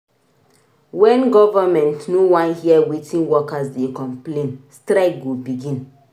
Wen government no wan hear wetin workers dey complain strike go begin.